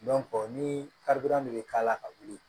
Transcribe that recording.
ni karidon bɛ k'a la ka wuli